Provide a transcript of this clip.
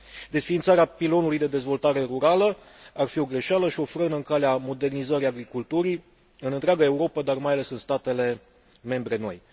Desființarea pilonului de dezvoltare rurală ar fi o greșeală și o frână în calea modernizării agriculturii în întreaga Europă, dar mai ales în statele membre noi.